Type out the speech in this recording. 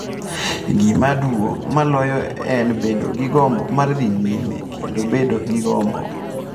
Gima duong’ moloyo en bedo gi gombo mar dhi nyime kendo bedo gi gombo.